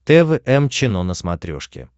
тэ вэ эм чено на смотрешке